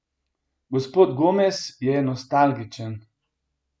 Gospod Gomez je nostalgičen.